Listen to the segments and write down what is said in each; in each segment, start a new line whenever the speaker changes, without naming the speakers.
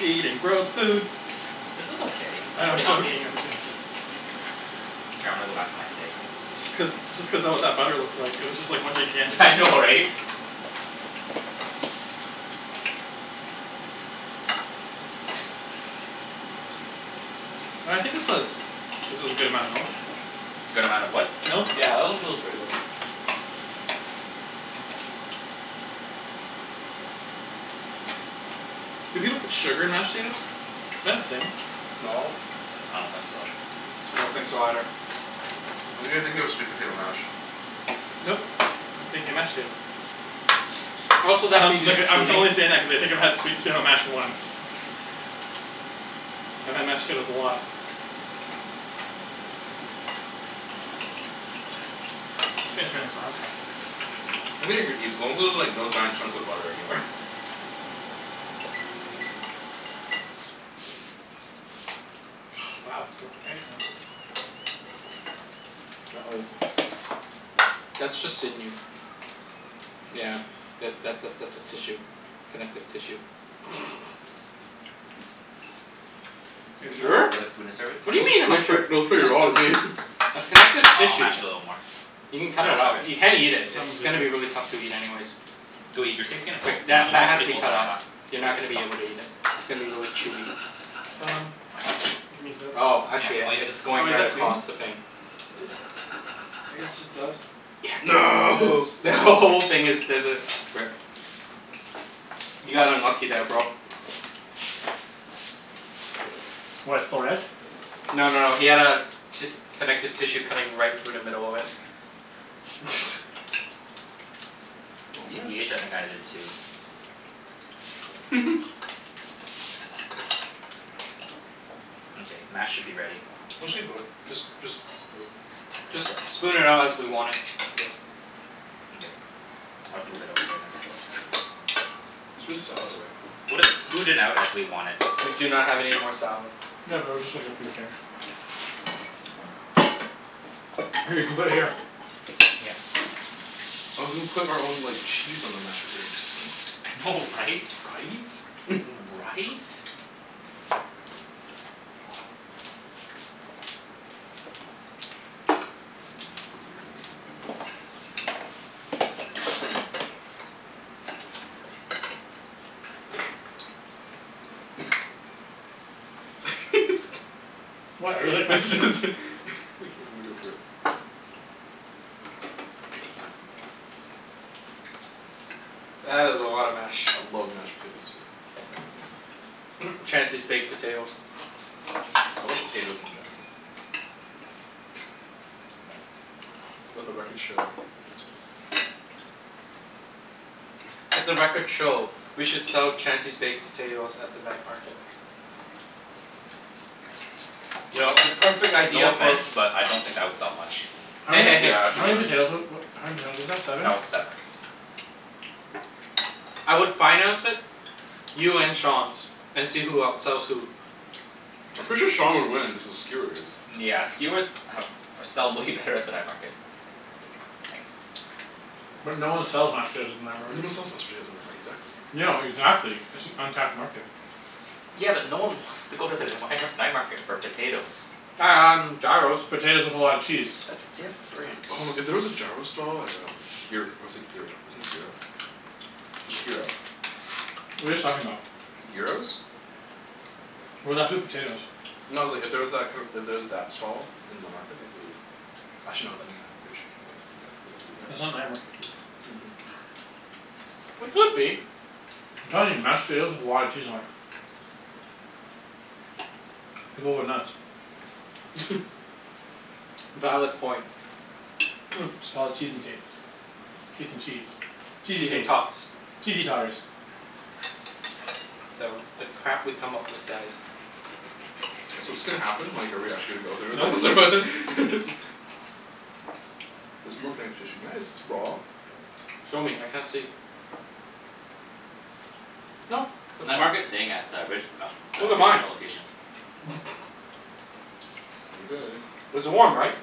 Eating gross food.
This is okay,
I
it's
know I'm
pretty healthy.
joking I'm jo-
K, I'm gonna go back to my steak.
Just cuz just cuz that what that butter looked like. It was just one gigantic
Yeah I know
piece.
right?
No I think this was this was a good amount of milk.
Good amount of what?
Milk
Yeah that actually looks pretty good.
Do people put sugar in mashed potatoes? Is that a thing?
No.
I don't think so.
I don't think so either.
I think you're thinking of sweet potato mash.
Nope, I'm thinking mashed potatoes.
Also that'd
Um
be
like
just
uh I'm t-
cheating.
only saying that cuz I've had sweet potato mash once. I've had mashed potatoes a lot. I'm just gonna turn this off.
I think you're good Ibs as long as there's like no giant chunks of butter anywhere.
Wow it's so quiet now.
Uh oh.
That's just sinew. Yeah. Yeah that that that's a tissue. Connective tissue.
It's
You
enough?
Do
sure?
you have a spoon to serve it?
What do
Ni-
you mean am I
nice
sure?
trick, looks pretty
Now
raw to
it's
me.
good.
That's connective
Uh I'll
tissue.
mash it a little more.
You can cut
Then
it
I'll serve
out.
it.
You can't eat it. It's
Simon's really
gonna be really
good.
tough to eat anyways.
Go eat, your steak's getting cold.
Like
Mine,
that
mine
that
was
has to
pretty
be
cold
cut
when I
out.
last
You're
ate
not gonna be
it.
able to eat it. It's gonna be really chewy.
Um You can use this.
Oh I
Yeah,
see it.
I'll use this
It's
to
Oh
going
is
right
that
clean.
clean?
across the thing.
I guess it's just dust. Yeah
No
it's
The who-
dust.
whole
Mkay.
thing there's a rip. You got unlucky there bro.
What, it's still red?
No no no he had a ti- connective tissue cutting right through the middle of it.
Oh man.
TBH I think I did too. Mkay, mash should be ready.
Actually good just just
Just
Just
lips?
spoon it out as we want it.
Yep.
Mkay. I'll just move it over there then.
Let's put the salad away.
We'll just smooth it out as we want it.
We do not have any more salad.
Yeah but it was just like a few things. Here you can put it here.
Yeah.
I was gonna put our own like cheese on the mashed potatoes.
I know right?
Right?
Right?
What? I really like my
I
potatoes.
just, think I'ma go for it.
That is a lot of mash.
I love mashed potatoes too.
Chancey's baked potatoes.
I love potatoes in general. Let the records show that Chancey loves potatoes.
Let the records show we should sell Chancey's baked potatoes at the night market. Yo, the perfect
No
idea for
offense, but I don't think that would sell much.
How
Hey
many
hey hey.
Yeah,
how
actually
many
wouldn't.
potatoes wa- wa- how many potatoes was that? Seven?
That was seven.
I would finance it. You and Sean's, and see who outsells who.
I'm
Just
pretty
be-
sure
shh
Sean would win, cuz of skewers.
Yeah skewers have or sell way better at the night market. I'll take it. Thanks.
But no one sells mashed potatoes at the night market.
sells mashed potatoes night mar- exactly.
No, exactly, it's an untapped market.
Yeah but no one wants to go to the the mighnar- night market for potatoes.
Um gyros.
Potatoes with a lot of cheese.
That's different.
Oh if there was a gyro stall at um gyr- or is it gyro, isn't it gyro? It's gyro.
What are you guys talking about?
Gyros?
We're left with potatoes.
No it's like if there was that kinda, if there was that stall in the night market that'd be Actually no then again pretty sure should go grab for the eat at
That's not night market food.
Mhm.
It could be.
I'm telling you. Mashed potatoes with a lot of cheese on it. People would nuts.
Valid point.
Just call it "Cheese N tates" "Tates N cheese" "Cheesey
Cheese N
tates"
tots.
"Cheesey totters."
The the crap we come up with, guys.
So 's this gonna happen? Like are we actually gonna go through with this
Nope.
or? There's more connective tissue. Nice
Show me, I can't see. Nope, that's
Night
fine.
market's staying at the Rich- um the
Look at mine.
casino location.
Mkay.
It's warm, right?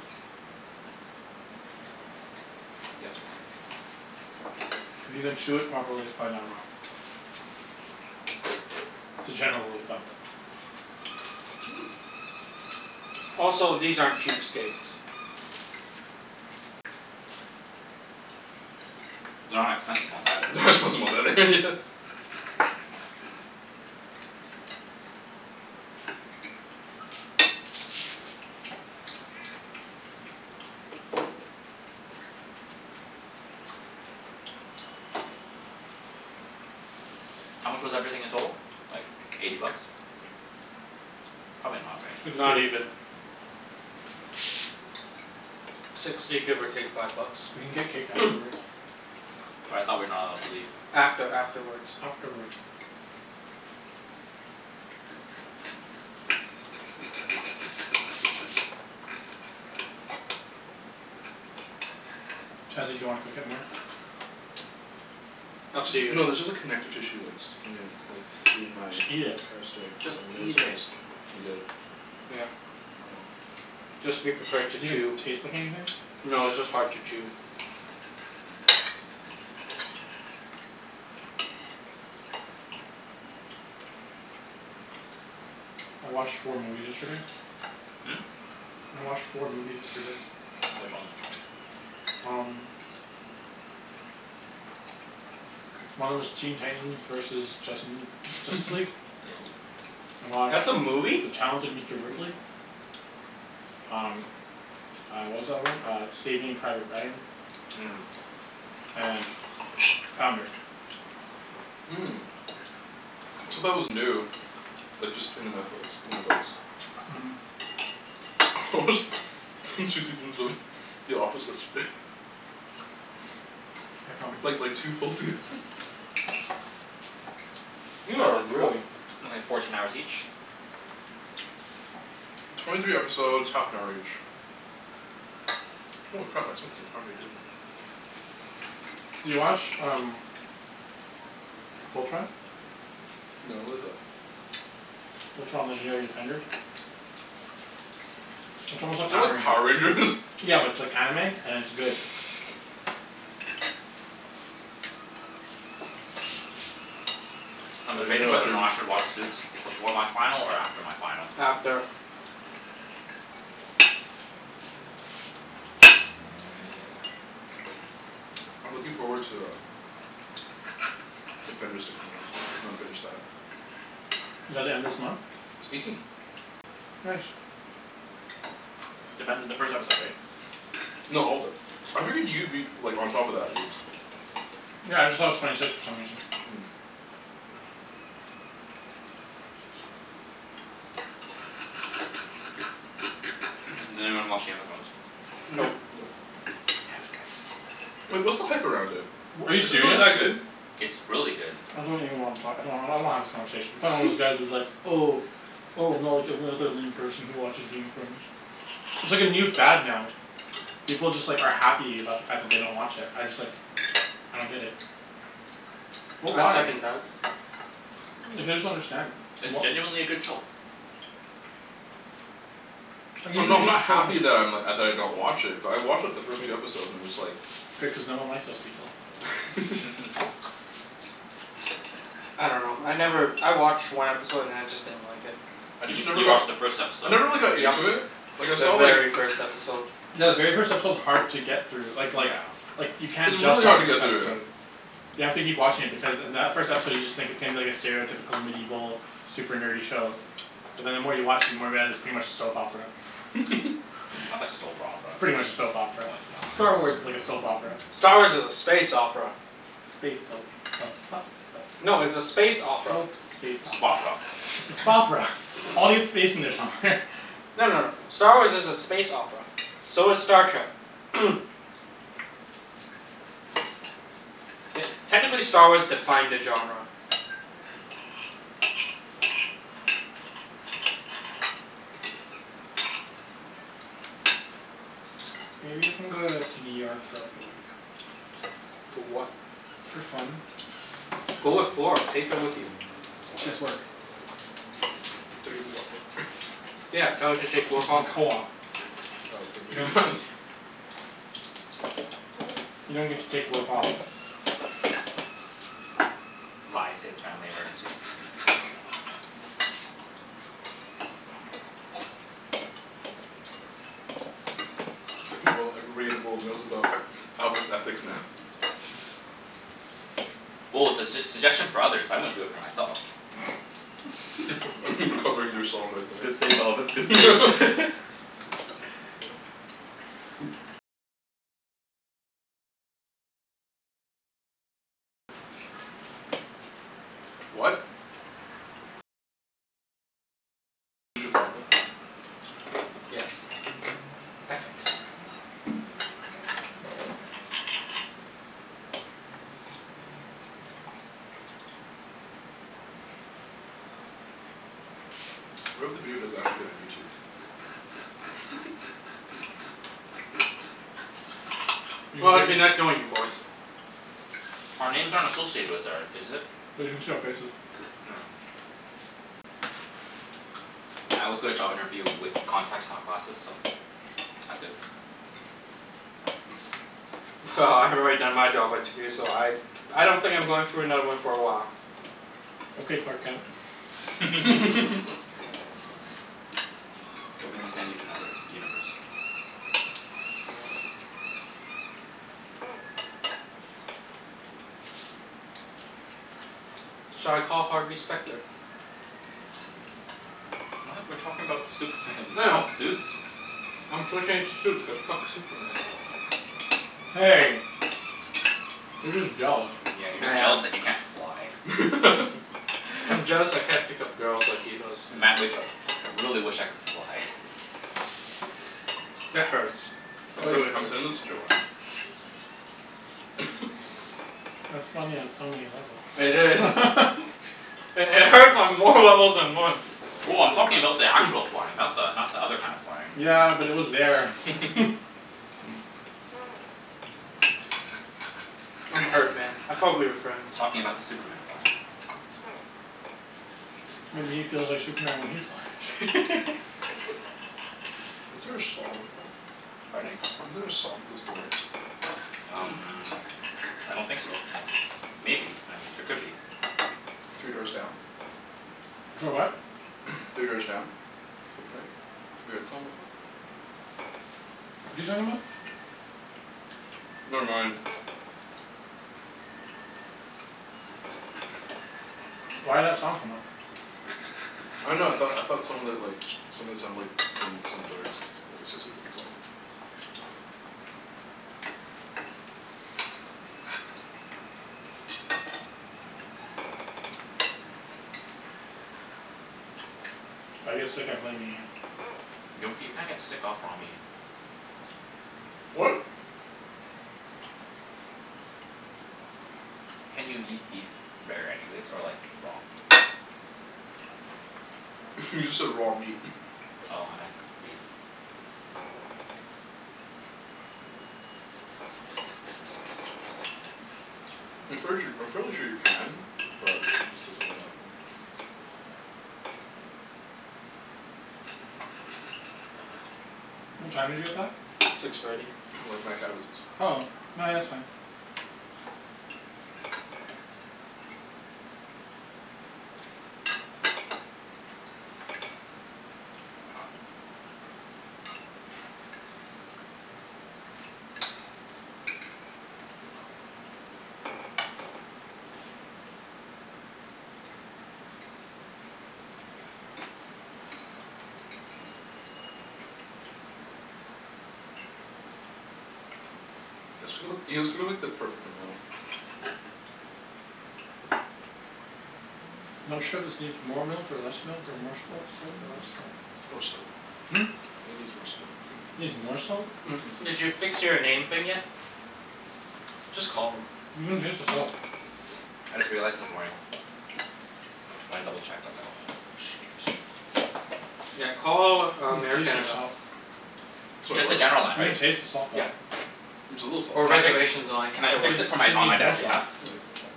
If you can chew it properly, it's probably not raw. It's a general rule of thumb.
Also, these aren't cheap steaks.
They're not expensive ones either.
They're not expensive ones either Yeah.
How much was everything in total? Like eighty bucks. Probably not, right?
Sixty.
Not even. Sixty give or take five bucks.
We can get cake afterwards.
But I thought we're not allowed to leave.
After afterwards.
Afterwards. Chancey do you wanna cook it more?
Up
It's
to you.
just no there's just like connective tissue like sticking in like through my
Just eat it.
entire steak so
Just
I may as
eat
well
it.
just eat it.
Yeah.
Oh well.
Just be prepared
Does
to
it even
chew.
taste like anything?
No, it's just hard to chew.
I watched four movies yesterday. I watched four movies yesterday.
Which ones?
Um. One of 'em was Teen Titans versus Justin Justice League.
Yep.
I watched
That's a movie?
"The Talented Mister
Mhm.
Ripley." Um uh what was the other one? Uh "Saving Private Ryan."
Mmm.
And "Founder."
Said that was new. Like just in the Netflix. In Netflix.
Mhm.
I watched two seasons of The Office yesterday.
Yeah, probably.
Like like two full seasons
You
That
are
like four-
really
only fourteen hours each?
Twenty three episodes half an hour each. Holy crap I spent the entire day doing it.
You watch um "Fultron?"
No what is that?
"Fultron, Legendary Defenders?" It's
Is
almost like
that
Power
like Power Rangers?
Rangers. Yeah but it's like anime and it's good.
Uh
I'm debating
no I
whether or
didn't.
not I should watch Suits before my final or after my final.
After
I'm looking forward to um Defenders to come out. I'm gonna binge that.
Is that the end of this month?
It's eighteen.
Nice.
Defender the first episode right?
No all of it. I figured you'd be like on top of that Ibs.
Yeah I just thought it was twenty six for some reason.
Does anyone watch Game of Thrones?
Nope.
Nope.
Nope.
Damn it guys.
Wait, what's the hype around it?
W- are you
Is it really
serious?
that good?
It's really good.
I don't even wanna talk I don't- I don't wanna have this conversation. You're probably one of those guys who's like "Oh "Oh I'm not like every other lame person who watches Game of Thrones." It's like a new fad now. People just like are happy about the fact that they don't watch it. I just like I don't get it. What
I
why?
second that.
Like I just don't understand.
It's
What
genuinely a good show.
Like even
I'm not
if
I'm
you
not
have the show
happy
just
that I'm like, uh, that I don't watch it but I watched like the first two episodes and I'm just like
Good cuz no one likes those people.
I dunno. I never, I watched one episode and then I just didn't like it.
I
You
just
mean-
never
you
got
watched the first
I
episode.
never really got
Yep,
into it Like I
the
saw like
very first episode.
Yeah the very first episode is hard to get through. Like like
Yeah.
like you can't
It's
just
really
watch
hard to
the first
get through.
episode. You have to keep watching it because in that first episode you just think it seems like a stereotypical medieval super nerdy show But then the more you watch it the more you realize it's pretty much a soap opera.
Not a soap
It's
opera.
pretty much a soap opera.
No it's
Star
not.
Wars is like a soap opera.
Star Wars is a space opera.
Space soap
No it's a
soap
space
space
opera.
opera.
Spopera.
It's a "Spopera." Audience space in there somewhere.
No no no. Star Wars is a space opera. So is Star Trek. Te- technically Star Wars defined the genre.
Maybe you can go uh to New York for like a week.
For what?
For fun.
Go with Flor, take her with you.
She has work.
Take a week off work.
Yeah, tell her to
She's
take work
in
off.
co-op.
Oh okay, maybe not.
You don't get to take work off.
Lie, say it's family emergency.
Well everybody in the world knows about Alvin's ethics now.
Well it's a s- suggestion for others. I wouldn't for do it myself.
Covering yourself right
Good
there.
save Alvin, good save.
What?
Yes. Ethics.
What if the video does actually get on YouTube?
You can
Well,
break
it's
it.
been nice knowing you boys.
Our names aren't associated with or is it?
They can see our faces.
Oh. I always go to job interview with contacts not glasses, so that's good.
Well, I've already done my job interview so I I don't think I'm going through another one for a while.
Okay Clark Kent.
Don't make me send you to another universe.
Shall I call Harvey Specter?
What? We're talking about Superman, you're
I
talking
know.
about Suits?
I'm switching it to Suits cuz fuck Superman.
Hey. You're just jealous.
Yeah, you're
I
just
am.
jealous that you can't fly.
I'm jealous I can't pick up girls like he does.
Matt wakes up: "Fuck, I really wish I could fly."
That hurts.
I'm
That really
sen- I'm
hurts.
sending this to Joanne.
That's funny on so many levels.
It is. It hurts on more levels than one.
Well, I'm talking about the actual flying. Not the not the other kind of flying.
Yeah, but it was there.
I'm hurt man, I thought we were friends.
Talking about the Superman flying.
Maybe he feels like Superman when he flies.
Isn't there a song like that?
Pardon?
Isn't there a song with those lyrics?
Um I don't think so. Maybe, I mean there could be.
Three Doors Down?
Clo- what?
Three Doors Down? Kryptonite? Have you heard that song before?
What's he talking about?
Never mind.
Why'd that song come up?
I dunno, I thought I thought some of it like, some of it sounded like some some lyrics lyrics associated with the song.
If I get sick I'm blaming you.
Gnocchi, you can't get sick off raw meat.
What?
Can't you eat beef rare anyways? Or like raw?
You just said raw meat.
Oh, I meant beef.
I'm fairly sure I'm fairly sure you can, but it just doesn't really happen often.
What time did you get that?
Six thirty.
Like mad cow disease.
Oh. No yeah, that's fine.
You guys too- you guys cooked like the perfect amount.
Not sure if this needs more milk or less milk or more salt salt or less salt.
More salt.
Hmm?
It needs more salt.
Needs more salt?
Did you fix your name thing yet? Just call them.
You can taste the salt.
I just realized this morning. When I double checked I was like "Oh shoot."
Yeah, call um Air
taste the
Canada.
salt.
Sorry,
Just the
what?
general line,
You can
right?
taste the salt though.
Yep.
It's a little salty.
Or
Can I fi-
reservations line,
can I
either
Cuz
fix
works.
this for
you said it
my, on my
needs more
dad's
salt.
behalf?
Yeah, it needs more salt.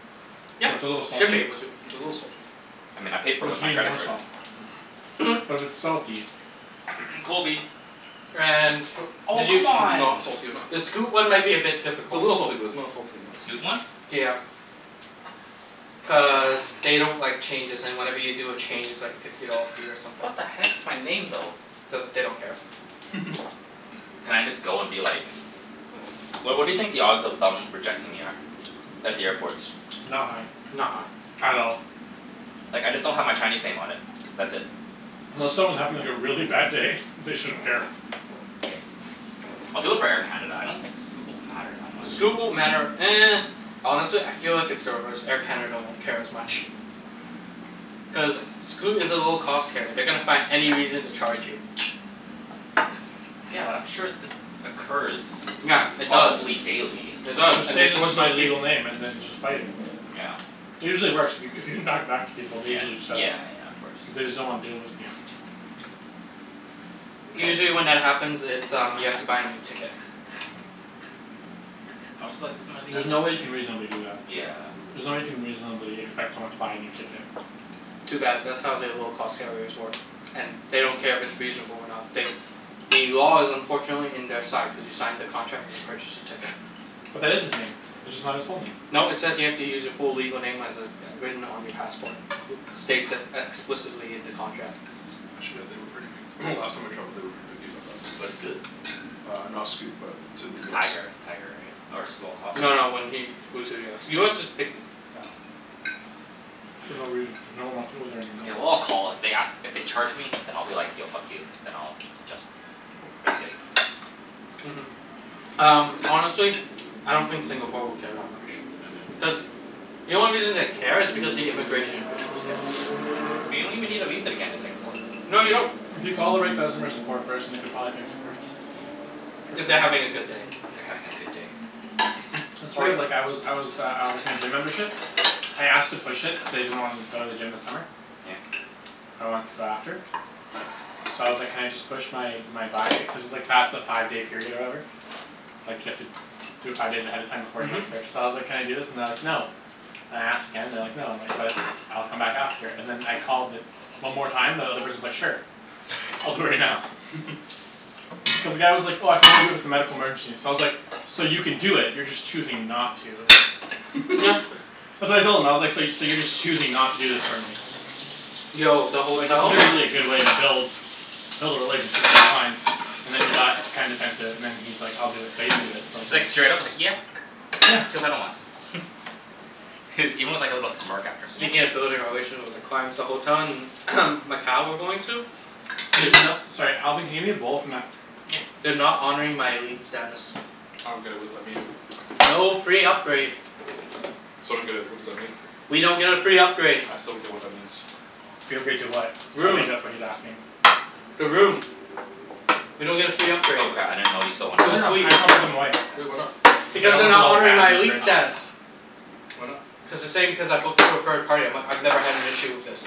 Yeah,
What's a little
should be
salty?
able to.
It's a little salty.
I mean I paid for it
But
with
you
my
need
credit
more
card.
salt.
Mhm.
But it's salty.
Kobe.
And fo-
Oh
did you,
c'mon.
Not salty enough.
the Scoot one might be a bit
It's a
difficult.
little salty but it's not salty
The Scoot
enough.
one?
Yeah. Cuz
God damn.
they don't like changes and whenever you do a change it's like a fifty dollar fee or something.
What the heck, it's my name though.
Doesn't, they don't care.
Can I just go and be like What what do you think the odds of them rejecting me are? At the airport.
Not high.
Not high.
At all.
Like I just don't have my Chinese name on it. That's it.
Unless someone's having like a really bad day they shouldn't care.
K, I'll do it for Air Canada. I don't think Scoot will matter that much.
Scoot won't matter Honestly I feel like it's the reverse, Air Canada won't care as much. Cuz Scoot is a low cost carrier. They're gonna find any reason to charge you.
Yeah, but I'm sure this occurs
Yeah, it does.
probably daily.
It does
Just
and
say
they
this
force
is my
those peop-
legal name and then just fight it.
Yeah.
It usually works. If you c- if you can talk back to people they
Yeah.
usually set it.
Yeah yeah, of course.
Cuz they just don't wanna deal with you.
Yes.
Usually when that happens it's um you have to buy a new ticket.
I'll just be like, "This is my legal
There's no way you
name," yeah.
can reasonably do that.
Yeah.
There's no way you can reasonably expect someone to buy a new ticket.
Too bad, that's how they low cost carriers work. And they don't care if it's reasonable or not, they The law is unfortunately in their side cuz you signed the contract when you purchased the ticket.
But that is his name. It's just not his full name.
No, it says you have to use your full legal name as it's written on your passport. States it explicitly in the contract.
Actually yeah, they were pretty pic- last time I traveled they were pretty picky about that
With Scoot?
Uh not Scoot, but to the US.
Tiger. Tiger, right? Or Small Hoss?
No, when he flew to US. US is picky.
Yeah.
For no reason,
Hmm.
cuz no one wants to go there anymore.
Mkay, well I'll call, if they ask, if they charge me then I'll be like, "Yo, fuck you." Then I'll just risk it.
Mhm. Um honestly I don't think Singapore will care that much.
Mhm.
Cuz the only reason they care is because the immigration officials care.
But you don't even need a visa to get into Singapore.
No you don't.
If you call the right customer support person they could probably fix it for you. For
If
free.
they're having a good day.
They're having a good day?
That's
Oh
right,
yeah.
like I was I was uh uh with my gym membership. I asked to push it, cuz I didn't wanna go to the gym this summer.
Yeah?
I want to go after. So I was like "Can I just push my my buy" cuz it's like past the five day period or whatever. Like you have to do it five days ahead of time before the
Mhm.
next purchase, so I was like, "Can I do this?" and they're like, "No." And I asked again and they're like "No." And I'm like, "But, I'll come back after." And then I called the one more time and the other person's like "Sure." "I'll do it right now." Cuz the guy was like, "Oh I can only do it if it's a medical emergency." So I was like, "So you can do it, you're just choosing not to." Uh so I told him I was like, "So you so you're just choosing not to do this for me."
Yo, the
Like this
hotel
isn't really a good way to build Build a relationship with your clients and then he got kinda defensive and then he's like, "I'll do it." But he didn't do it for like at
Like
least
straight up like "Yeah,
Yeah.
cuz I don't want to." Even with like a little smirk after. "Yeah."
Speaking of building a relation with the clients the hotel in Macau we're going to
Can you
Is no-
Sorry Alvin can you hand me a bowl from that
Yeah.
They're not honoring my elite status.
I don't get it, what's that mean?
No free upgrade.
So I don't get it, what does that mean?
We don't get a free upgrade.
I still don't get what that means.
Free upgrade to what? I
Room.
think that's what he's asking.
The room. We don't get a free upgrade.
Oh cra- I didn't know you still wanted
To
No
a
no, I
suite.
just wanna put them away.
Well, why not?
Cuz I
Because
don't
they're
wanna put a
not
whole
honoring
pan
my
in the
elite
Okay.
fridge.
status.
Why not?
Cuz they're saying because I booked through a third party I'm like, "I've never had an issue with this."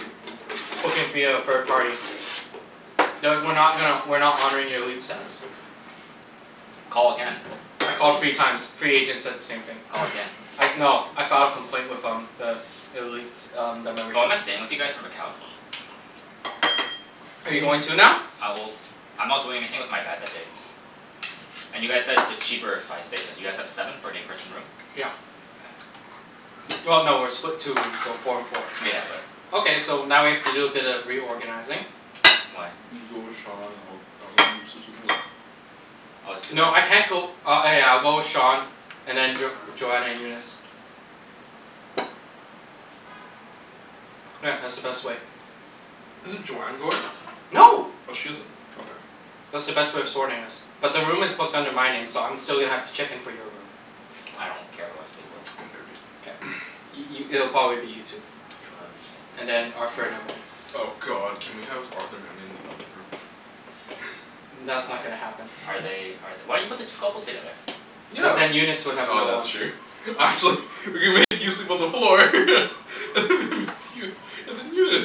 Booking via a third party. "No, we're not gonna, we're not honoring your elite status."
Call again,
I
I bet
called three
you
times, three agents said the same thing.
Call again.
I no I filed a complaint with um the elite um the membership.
Oh, am I staying with you guys for Macau?
Are you going too now?
Uh well, I'm not doing anything with my dad that day. And you guys said it's cheaper if I stay cuz you guys have seven for an eight person room?
Yeah. Well no, we're split two rooms, so four and four.
Yeah, but
Okay, so now we have to do a bit of reorganizing.
Why?
You go with Sean, I'll I'll go in and sleep with Nate.
Oh it's two beds?
No I can't go, uh oh yeah I'll go with Sean and then Jo- Joanna and Eunice. Yeah, that's the best way.
Isn't Joanne going?
No.
Oh she isn't. Okay.
That's the best way of sorting us. But the room is booked under my name so I'm still gonna have to check in for your room.
I don't care who I sleep with.
K. I- i- it'll probably be you two.
I love you
And
Chancey.
then Arthur and Emily.
Oh god, can we have Arthur and Emily in the other room?
That's
Oh.
not gonna happen.
Are they are th- why you put the two couples together?
Cuz
Yeah,
then Eunice would have
oh
no one.
that's true We could make you sleep on the floor and then Eunice.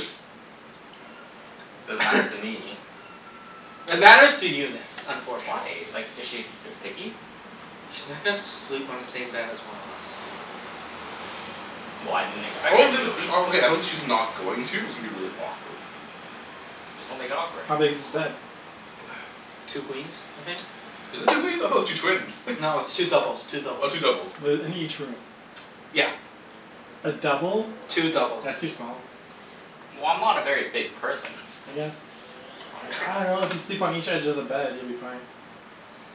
Doesn't matter to me.
It matters to Eunice,
Why?
unfortunately.
Like is she ver- picky?
She's not gonna sleep on the same bed as one of us.
Well, I didn't expect her to.
Okay, I don't think she's not going to, it's gonna be really awkward.
Just don't make it awkward.
How big is this bed?
Two queens, I think.
Is it two queens? I thought it was two twins.
No, it's two doubles, two
Oh,
doubles.
two doubles.
The in each room.
Yeah.
A double?
Two doubles.
That's too small.
Well, I'm not a very big person.
I guess.
I
I
am.
dunno, if you sleep on each edge of the bed you'll be fine.